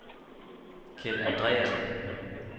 Keld Andreassen